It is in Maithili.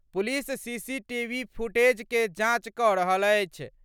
पुलिस सीसीटीवी फुटेज के जांच क' रहल अछि।